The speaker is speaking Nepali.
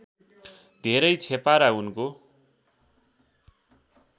धेरै छेपारा उनको